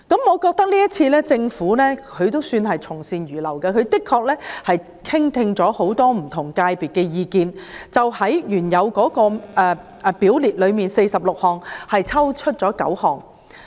我覺得政府今次也算從善如流，因為在聆聽不同界別的意見後，當局在原有表列的46項罪類中剔除了9項。